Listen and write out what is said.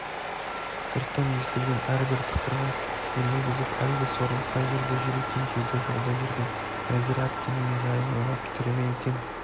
сырттан естілген әрбір тықырға елегізіп әлгі сорлы қай жерде жүр екен дейді жолда жүрген нәзира әпкемнің жайын ойлап тірі ме екен